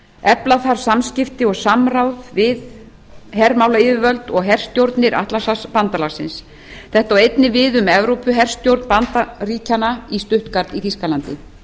efla þarf samskipti og samráð við hermálayfirvöld og herstjórnir atlantshafsbandalagsins þetta á einnig við um evrópuherstjórn bandaríkjanna í stuttgart í þýskalandi